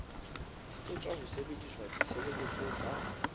etswa ho sebedisa ditshebeletso tsa